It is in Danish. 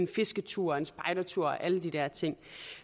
fisketur en spejdertur alle de der ting